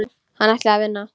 Hann ætlaði að vinna.